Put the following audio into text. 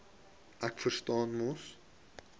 ek verstaan mos